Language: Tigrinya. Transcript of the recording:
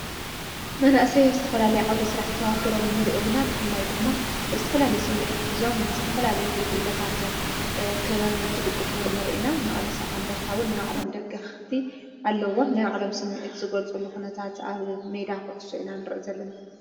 መናእሰይ ስትፈላሌ ዓውደ ሥራሕ ተዋፊሮም ንርእዮሚና ብፍላይ ድማ እስትፈላሌ ስሚኤት ኂዞም ንስተፈላል ጕጅለታት ኽበብ ንትድግፍውን ርኢና መቕለሰ ዓንደርታውን ናይዊ ዕለም ደግ ኽቲ ኣለዎም ናይ ዕለም ስሚኤት ዝጐልጽሉ ኹነታትኣብ ሜዳ ዂዕሱዕና ንርእ ዘለና።